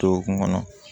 Dɔgɔkun kɔnɔ